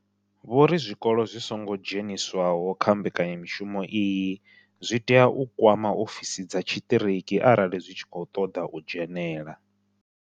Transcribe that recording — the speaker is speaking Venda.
Vho ri zwikolo zwi songo dzheniswaho kha mbekanya mushumo iyi zwi tea u kwama ofisi dza tshiṱiriki arali zwi tshi khou ṱoḓa u dzhenela.